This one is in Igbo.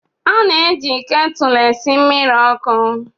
A na-eji ketụlụ esi mmiri ọkụ